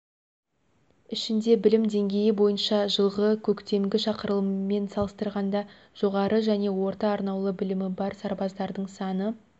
ішінде білім деңгейі бойынша жылғы көктемгі шақырылыммен салыстырғанда жоғары және орта-арнаулы білімі бар сарбаздардың саны